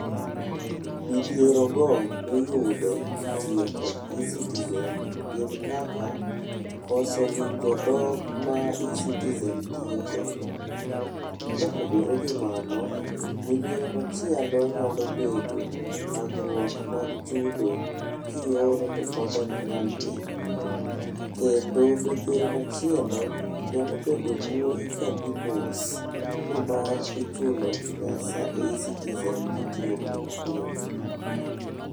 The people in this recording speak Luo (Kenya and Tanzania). Midhiero go miyudo kitiyo kod eCitizen gin kaka, koso winjo dhok ma eCitizen tiyogodo. Kopogore gi mano, midhiero machielo nyalo bedo thagrwuok mag chudo, kioro to pod oknyal dhi. Kendo midhiero machielo nyalo bedo mbui ka dhi mos nimar ichulo pesa e eCitizen kitiyo kod mbui.